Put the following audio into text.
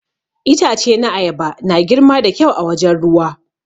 Itace na ayaba na girma da kyau a wajen ruwa.